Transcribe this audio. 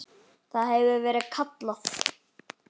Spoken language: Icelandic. Það hefur verið kallað